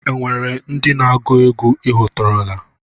Enwere ndị na-agụ egwú I hụtụrụla?